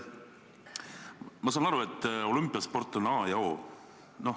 Ma saan aru, et olümpiasport on a ja o.